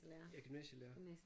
Jeg er gymnasielærer